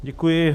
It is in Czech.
Děkuji.